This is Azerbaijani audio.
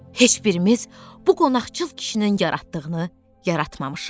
Heç birimiz bu qonaqçıl kişinin yaratdığını yaratmamışıq.